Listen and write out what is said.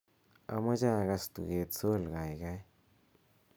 amoje agas tuget sol gaigai